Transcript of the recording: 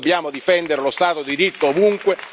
Noi dobbiamo difendere lo Stato di diritto ovunque.